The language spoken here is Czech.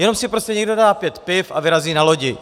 Jenom si prostě někdo dá pět piv a vyrazí na lodi.